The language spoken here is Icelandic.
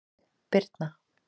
Birna